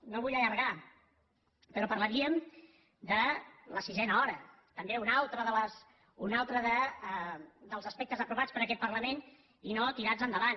no em vull allargar però parlaríem de la sisena hora també un altre dels aspectes aprovats per aquest parlament i no tirats endavant